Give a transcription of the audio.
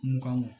Mugan mug